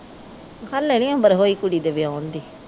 ਹਲੇ ਨਹੀਂ ਉਮਰ ਹੋਈ ਕੁੜੀ ਦੇ ਵਿਆਓਣ ਦੀ